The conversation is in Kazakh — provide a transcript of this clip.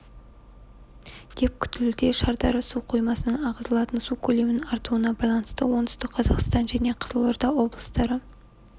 деп күтілуде шардара су қоймасынан ағызылатын су көлемінің артуына байланысты оңтүстік қазақстан және қызылорда облыстары